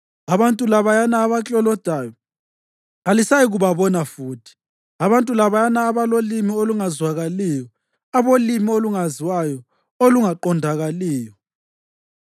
Abantu labayana abaklolodayo kalisayikubabona futhi, abantu labayana abolimi olungazwakaliyo, abolimi olungaziwayo, olungaqondakaliyo.